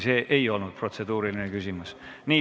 See ei olnud protseduuriline küsimus.